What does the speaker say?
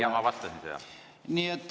Ja ma vastasin sellele.